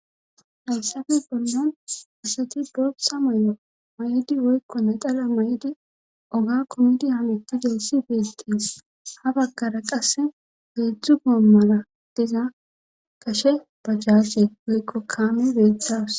Haysafe bollon asati booxxa moyo ma7idi woykko nadala may7idi oga komidi hametudeessi beesqies ha baggara qasse beedzdzu goo mala diza kashe bajjaase woykko kaame beetawus